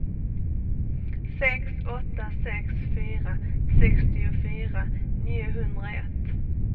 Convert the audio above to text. sex åtta sex fyra sextiofyra niohundraett